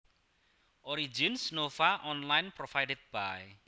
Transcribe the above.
Origins Nova Online Provided by